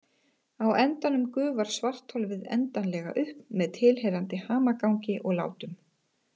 Á endanum gufar svartholið endanlega upp með tilheyrandi hamagangi og látum.